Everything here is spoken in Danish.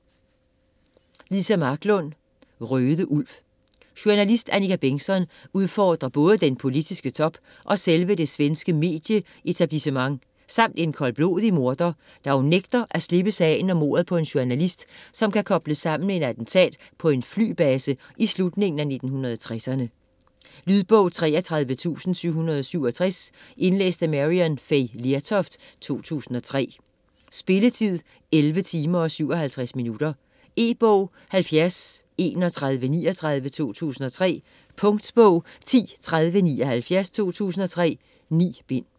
Marklund, Liza: Røde Ulv Journalist Annika Bengtzon udfordrer både den politiske top og selve det svenske medie-etablissement - samt en koldblodig morder - da hun nægter at slippe sagen om mordet på en journalist, som kan kobles sammen med et attentat på en flybase i slutningen af 1960'erne. Lydbog 33767 Indlæst af Maryann Fay Lertoft, 2003. Spilletid: 11 timer, 57 minutter. E-bog 703139 2003. Punktbog 103079 2003. 9 bind.